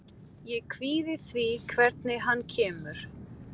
Ég kvíði því hvernig hann kemur.